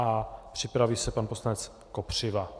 A připraví se pan poslanec Kopřiva.